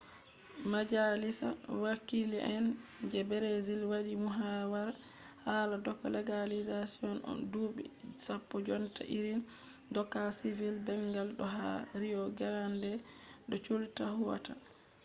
majalisa wakile’en je brazil wadi muhawara hala doka legalizashon dubi 10 jonta irin doka sivil bangal do ha rio grande do sul ta huwata